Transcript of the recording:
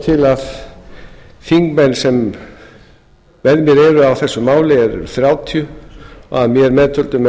til að þingmenn sem með mér eru á þessu máli eru þrjátíu og að mér meðtöldum eru það